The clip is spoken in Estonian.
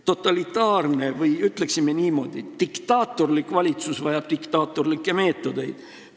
Totalitaarne või ütleksime niimoodi, diktaatorlik valitsus vajab diktaatorlikke meetodeid.